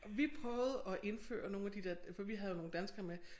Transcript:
Vi prøvede at indføre nogle af de der for vi havde jo nogle danskere med